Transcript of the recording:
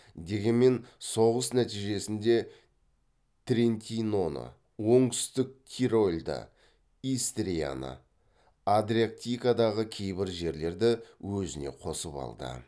дегенмен соғыс нәтижесінде трентиноны оңтүстік тирольді истрияны адриатикадағы кейбір жерлерді өзіне қосып алды